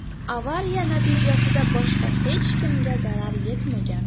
Avariya natijasida boshqa hech kimga zarar yetmagan.